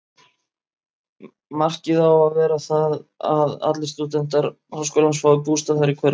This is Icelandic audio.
Markið á að vera það, að allir stúdentar háskólans fái bústað þar í hverfinu.